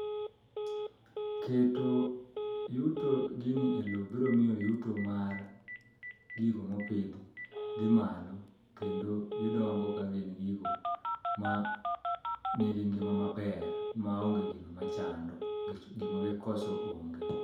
Keto yuto gini e lo biro miyo yuto mar gigo mopidhi dhi malo kendo gidongo kagin gigo ma nigi ngima maber maonge gino machando nikech gima gikoso onge.